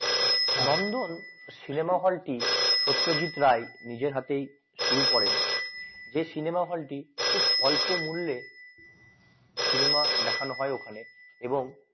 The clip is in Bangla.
নন্দন cinema হলটি সত্যজিৎ রাই নিজের হাতেই শুরু করেন যে cinema হলটি খুব সল্প মূল্যে cinema দেখানো হয় ওখানে এবং